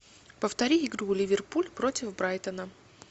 повтори игру ливерпуль против брайтона